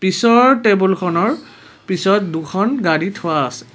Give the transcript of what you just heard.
পিছৰ টেবুলখনৰ পিছত দুখন গাড়ী থোৱা আছে।